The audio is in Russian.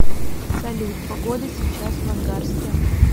салют погода сейчас в ангарске